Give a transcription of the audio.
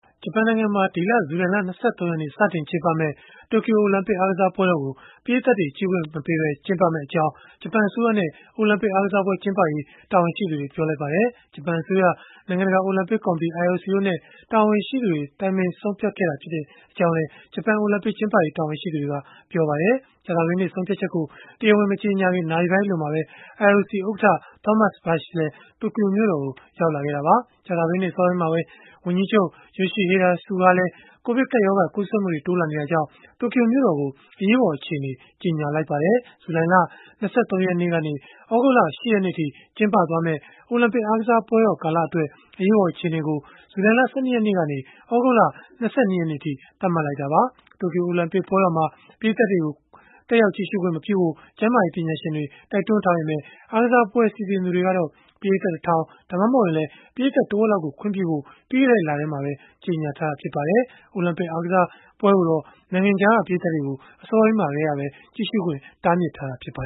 ဂျပန်နိုင်ငံမှာ ဒီလ ဇူလိုင်လ ၂၃ ရက်နေ့ စတင်ကျင်းပမယ့် တိုကျိုအိုလံပစ် အားကစားပွဲတော်ကို ပရိသတ်တွေ ကြည့်ရှုခွင့်မပြုပဲ ကျင်းပမယ့်အကြောင်း ဂျပန်အစိုးရနဲ့ အိုလံပစ်အားကစားပွဲ ကျင်းပရေး တာဝန်ရှိသူတွေက ပြောလိုက်ပါတယ်။ ဂျပန်အစိုးရ၊ နိုင်ငံတကာ အိုလံပစ်ကော်မတီ တာဝန်ရှိသူတွေနဲ့ တိုင်ပင်ပြီး ဆုံးဖြတ်ခဲ့တာ ဖြစ်ကြောင်းလည်း ဂျပန်အိုလံပစ် ကျင်းပရေး တာဝန်ရှိသူတွေက ပြောပါတယ်။ ကြာသပတေးနေ့က ဆုံးဖြတ်ချက်ကို တရားဝင် မကြေညာခင် နာရီပိုင်းအလိုမှာပဲ IOC ဥက္ကဋ္ဌ Thomas Bach လည်း တိုကျိုမြို့တော်ကို ရောက်လာခဲ့တာပါ။ ကြာသပတေးနေ့ အစောပိုင်းမှာပဲ ဝန်ကြီးချုပ် Yoshihide Suga ကလည်းူ ကိုဗစ်ကပ်ရောဂါ ကူးစက်မှုတွေ တိုးလာနေတာကြောင့် တိုကျိုမြို့တော်ကို အရေးပေါ် အခြေအနေ ကြေညာလိုက်ပါတယ်။ ဇူလိုင်လ ၂၃ ရက်ကနေ သြဂုတ်လ ၈ ရက်နေ့အထိ ကျင်းပမယ့် အိုလံပစ်အားကစားပွဲကာလအတွက် အရေးပေါ် အခြေအနေကို ဇူလိုင်လ ၁၂ ရက်နေ့ကနေ သြဂုတ်လ ၂၂ ရက်နေ့အထိ သတ်မှတ်ခဲ့တာပါ။ တိုကျိုအိုလံပစ်ပွဲတော်မှာ ပရိတ်သတ်တွေကို ခွင့်မပြုဖို့ ကျန်းမာရေး ပညာရှင်တွေ တိုက်တွန်းထားပေမဲ့ အားကစားပွဲ စီစဉ်သူတွေကတော့ ပရိတ်သတ် ၁ ထောင် ဒါမှမဟုတ်ရင်လည်း ပရိတ်သတ်တဝက်လောက်ကို ခွင့်ပြုဖို့ ပြီးခဲ့တဲ့ လထဲမှာပဲ ကြေညာထားပါတယ်။ အိုလံပစ်အားကစားပွဲကိုတော့ နိုင်ငံခြားက ပရိတ်သတ်တွေကို အစောပိုင်းမှာကတည်းက တားမြစ်ထားတာပါ